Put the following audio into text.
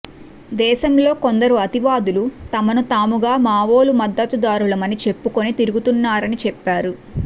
దేశంలో కొందరు అతివాదులు తమను తాముగా మావోల మద్దతుదారులమని చెప్పుకుని తిరుగుతున్నారని చెప్పారు